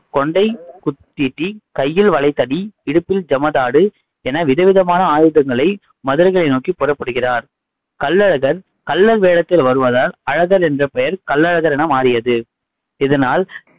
கொண்டை குத்தீட்டி, கையில் வலைதடி இடுப்பில் ஜமதாடு என விதவிதமான ஆயுதங்களை மதுரையை நோக்கிப் புறப்படுகிறார் கள்ளழகர் கள்ளர் வேடத்தில் வருவதால் அழகர் என்ற பெயர் கள்ளழகர் என மாறியது. இதனால்